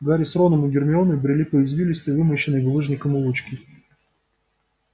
гарри с роном и гермионой брели по извилистой вымощенной булыжником улочке